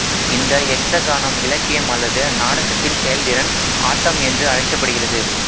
இந்த யக்சகானம் இலக்கியம் அல்லது நாடகத்தின் செயல்திறன் ஆட்டம் என்று அழைக்கப்படுகிறது